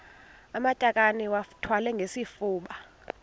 amatakane iwathwale ngesifuba